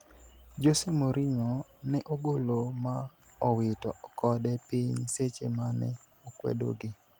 Jose Mourinho ne ogolo ma owito kode piny seche ma ne okwedo gi